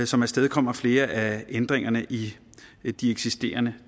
som afstedkommer flere af ændringerne i de eksisterende